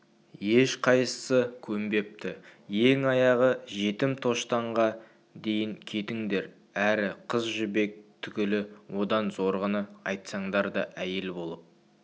ешқайсысы көнбепті ең аяғы жетім тоштанға дейін кетіңдер әрі қыз жібек түгілі одан зорғыны айтсаңдар да әйел болып